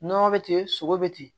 Nɔnɔ bɛ ten sogo bɛ ten